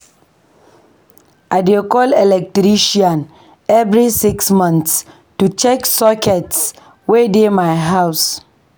I dey call electrician every six months to check sockets wey dey my house.